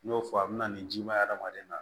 N y'o fɔ a bɛna nin jima ye hadamaden na